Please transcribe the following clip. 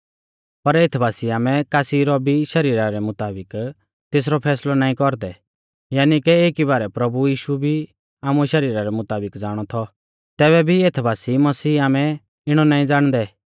पर एथ बासी आमै कासी रौ भी शरीरा रै मुताबिक तेसरौ फैसलौ नाईं कौरदै यानी के एकी बारै प्रभु यीशु भी आमुऐ शरीरा रै मुताबिक ज़ाणौ थौ तैबै भी एथ बासी मसीह आमै इणौ नाईं ज़ाणदै